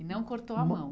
E não cortou a mão.